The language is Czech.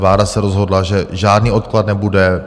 Vláda se rozhodla, že žádný odklad nebude.